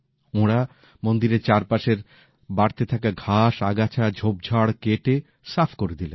ওঁরা মন্দিরের চারপাশের বাড়তে থাকা ঘাস আগাছা ঝোপঝাড় কেটে সাফ করে দিলেন